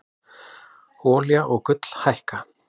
Olía og gull hækka